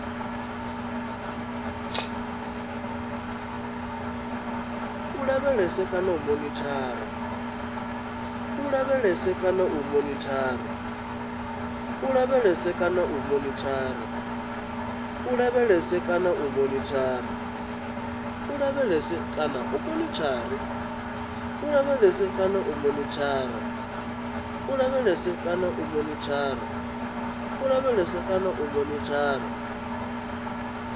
u lavhelesa kana u monithara